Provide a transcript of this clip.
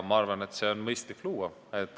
Ma arvan, et on mõistlik see luua.